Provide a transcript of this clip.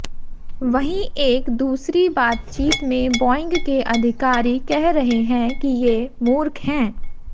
वहीं एक दूसरी बातचीत में बोइंग के अधिकारी कह रहे हैं कि ये मूर्ख हैं